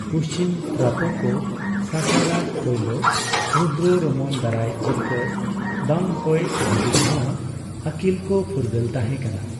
ᱯᱩᱪᱷᱤᱢ ᱛᱨᱟᱯᱚ ᱠᱚ ᱥᱟᱠᱟ ᱨᱟᱡᱽ ᱯᱳᱭᱞᱳ ᱨᱩᱫᱫᱚᱨᱚᱢᱚᱱ ᱫᱟᱨᱟᱭ ᱡᱤᱛᱠᱟᱹᱨ ᱵᱟᱝ ᱦᱳᱭ ᱫᱷᱟᱹᱵᱤᱡ ᱱᱚᱣᱟ ᱟᱹᱠᱤᱞ ᱠᱚ ᱯᱷᱩᱨᱜᱟᱹᱞ ᱛᱟᱦᱮᱸ ᱠᱟᱱᱟ ᱾